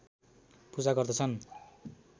पूजा गर्दछन्